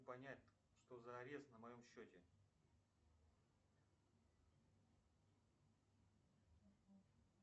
понять что за арест на моем счете